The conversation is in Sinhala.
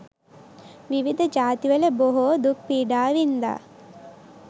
විවිධ ජාතිවල බොහෝ දුක්පීඩා වින්දා.